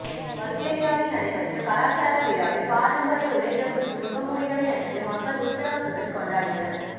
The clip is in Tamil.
பல்கேரியாவில் நடைபெற்ற கலாச்சார விழாவில் பாரம்பரிய உடைகள் மற்றும் முகமூடிகளை அணிந்து மக்கள் உற்சாகத்துடன் கொண்டாடினர்